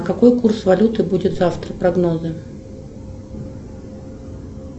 какой курс валюты будет завтра прогнозы